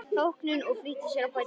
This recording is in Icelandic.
þóknun og flýtti sér að bæta við